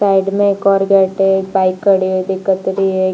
Side में एक और ऊपर गेट है बाइक खड़ी हुई दिखत रही है।